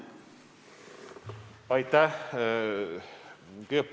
Aitäh!